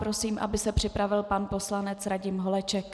Prosím, aby se připravil pan poslanec Radim Holeček.